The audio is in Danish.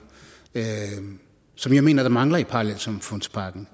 som jeg mener mangler i parallelsamfundspakken